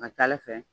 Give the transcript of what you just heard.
A ka ca ala fɛ